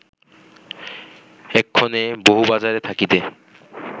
এক্ষণে বহুবাজারে থাকিতে